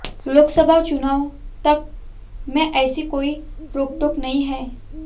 लोकसभा चुनाव तक में ऐसी कोई रोकटोक नहीं है